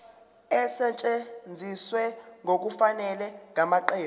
esetshenziswe ngokungafanele ngamaqembu